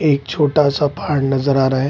एक छोटा-सा पहाड नज़र आ रहा है।